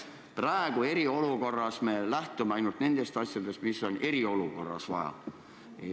Praegu, eriolukorras me lähtume ainult nendest teemadest, mida on eriolukorras vaja.